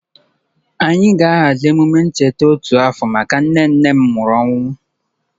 Anyị ga-ahazi emume ncheta otu afọ maka nne nne m nwụrụ anwụ.